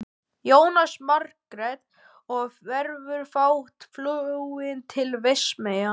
Jónas Margeir: Og verður þá flogið til Vestmannaeyja?